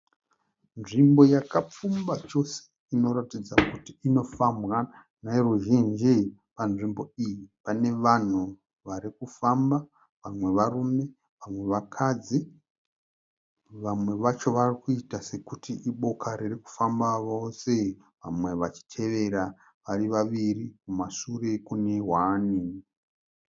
Nzvimbo yakapfumba chose inoratidza kuti inofambwa neruzhinji. Panzvimbo iyi pane vanhu varikufamba vamwe varume vamwe vakadzi. Vamwe vacho varikuita sekuti iboka riri kufamba vose vamwe vachitevera vari vaviri kumashure kune hwani.